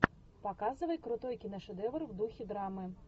показывай крутой киношедевр в духе драмы